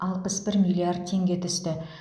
алпыс бір миллиард теңге түсті